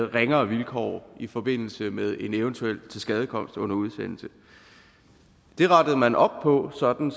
og ringere vilkår i forbindelse med en eventuel tilskadekomst under udsendelse det rettede man op på sådan